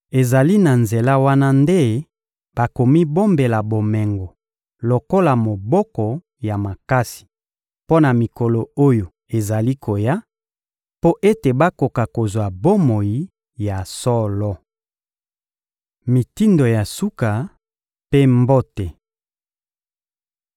Ezali na nzela wana nde bakomibombela bomengo lokola moboko ya makasi mpo na mikolo oyo ezali koya, mpo ete bakoka kozwa bomoi ya solo. Mitindo ya suka mpe mbote